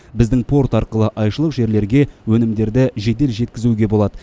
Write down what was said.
біздің порт арқылы айшылық жерлерге өнімдерді жедел жеткізуге болады